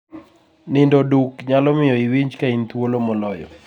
Nindo duk nyalo miyo iwinj ka in thuolo moloyo.